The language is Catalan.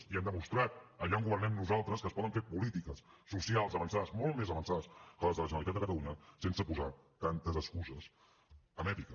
ja hem demostrat allà on governem nosaltres que es poden fer polítiques socials avançades molt més avançades que les de la generalitat de catalunya sense posar tantes excuses amb èpica